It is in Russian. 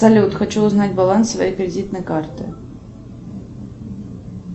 салют хочу узнать баланс своей кредитной карты